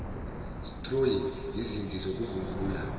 stroyi izinti zokuvungula